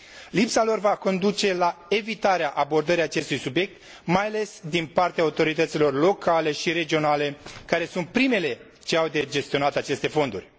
Lipsa lor va conduce la evitarea abordării acestui subiect, mai ales din partea autorităților locale și regionale, care sunt primele ce au de gestionat aceste fonduri.